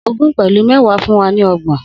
Ogún pẹlu méwàá fún wa ni ọgbọn